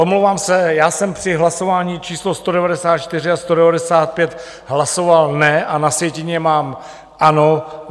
Omlouvám se, já jsem při hlasování číslo 194 a 195 hlasoval ne a na sjetině mám ano.